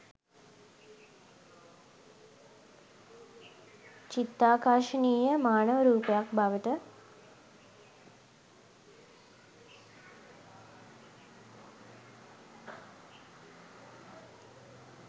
චිත්තාකර්ශනීය මානව රූපයක් බවට